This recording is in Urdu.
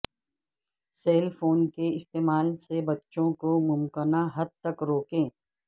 سیل فون کے استعمال سے بچوں کو ممکنہ حد تک روکیں